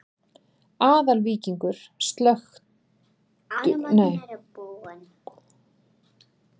Aðalvíkingur, kveiktu á sjónvarpinu.